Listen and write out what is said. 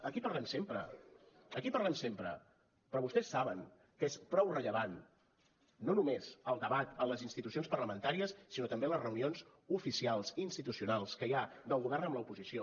aquí parlem sempre aquí parlem sempre però vostès saben que és prou rellevant no només el debat a les institucions parlamentàries sinó també a les reunions oficials institucionals que hi ha del govern amb l’oposició